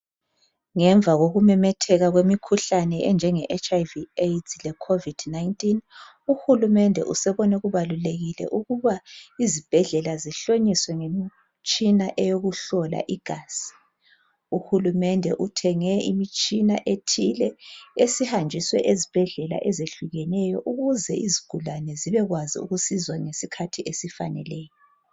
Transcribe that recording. Ngemva kokumemetheka kwemikhuhlane enjenge HlV ,AIDS le COVID-19 UHulumende usebone kubalulekile ukuba izibhedlela zihlonyiswe ngemitshina eyokuhlola igazi, UHulumende uthenge imitshina ethile esihanjiswe eZibhedlela ezehlukeneyo ukuze izigulane zibekwazi ukusizwa ngesikhathi esifaneleyo.